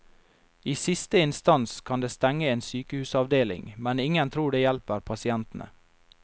I siste instans kan det stenge en sykehusavdeling, men ingen tror det hjelper pasientene.